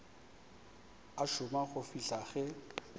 a šoma go fihla ge